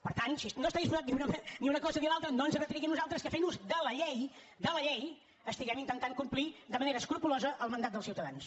per tant si no hi està disposat diu no home ni una cosa ni l’altra no ens retregui a nosaltres que fent ús de la llei de la llei estiguem intentant complir de manera escrupolosa el mandat dels ciutadans